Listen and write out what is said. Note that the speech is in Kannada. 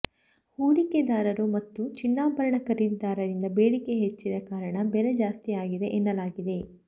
ಹೂಡಿಕೆದಾರರು ಮತ್ತು ಚಿನ್ನಾಭರಣ ಖರೀದಿದಾರರಿಂದ ಬೇಡಿಕೆ ಹೆಚ್ಚಿದ ಕಾರಣ ಬೆಲೆ ಜಾಸ್ತಿಯಾಗಿದೆ ಎನ್ನಲಾಗಿದೆ